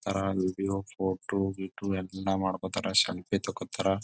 ತರ್ ಯುಬಿಯೋ ಫೋಟೋ ಗಿಟೊ ಎಲ್ಲಾ ಮಾಡಕೋತ್ತರ್ ಸೆಲ್ಫಿ ತೋಕೋತ್ತರ್.